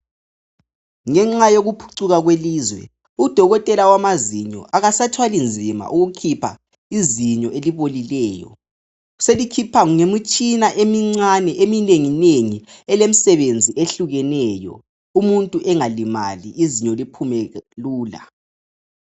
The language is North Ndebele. Ngenxa yokuphucuka kwelizwe udokotela wamazinyo akasathwali nzima ukukhipha izinyo elibolileyo. Selikhipha ngemitshina emncane eminenginengi elemsebenzi eyehlukeneyo umuntu engalimali izinyo liphume lula.